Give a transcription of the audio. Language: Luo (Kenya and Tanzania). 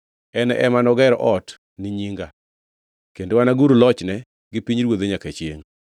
En ema noger ot ni nyinga, kendo anagur lochne gi pinyruodhe nyaka chiengʼ.